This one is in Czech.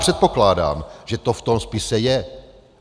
Předpokládám, že to v tom spise je.